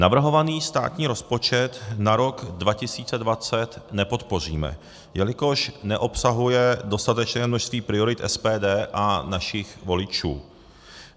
Navrhovaný státní rozpočet na rok 2020 nepodpoříme, jelikož neobsahuje dostatečné množství priorit SPD a našich voličů.